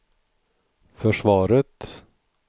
försvaret